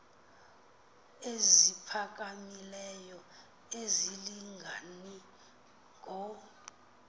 eziphakamileyo azilingani ngo